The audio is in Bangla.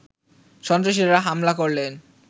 সন্ত্রাসীরা হামলা করলে